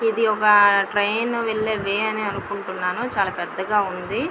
ఇది ఒక ట్రైన్ వెల్లె వే అనుకుంటున్నాను చాల పెద్దగా వుంది.